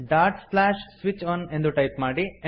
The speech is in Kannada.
ಡಾಟ್ ಸ್ಲ್ಯಾಶ್ ಸ್ವಿಚ್ ಒನ್ ಎಂದು ಟೈಪ್ ಮಾಡಿ